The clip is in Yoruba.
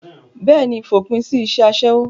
bẹ́ẹ̀ni, fòpin sí isẹ́ asẹ́wó